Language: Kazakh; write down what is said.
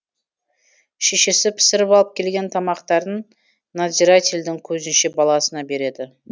шешесі пісіріп алып келген тамақтарын надзирательдің көзінше баласына береді